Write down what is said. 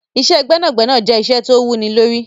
Iṣẹ́ gbẹ́nàgbẹnà jẹ́ iṣẹ́ tó wú ní lórí.